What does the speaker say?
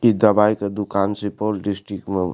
इ दवाई के दुकान सुपोल डिस्ट्रिक्ट म --